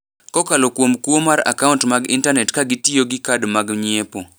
kokalo kuom kuo mar akaunt mag intanet ka gitiyo gi Kad mag Nyiepo.